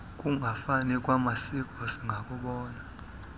kungafani kwamasiko singakubona